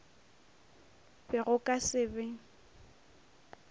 be go ka se be